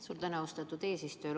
Suur tänu, austatud eesistuja!